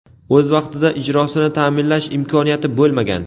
o‘z vaqtida ijrosini ta’minlash imkoniyati bo‘lmagan.